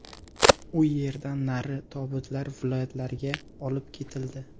U yerdan nari tobutlar viloyatlarga olib ketildi.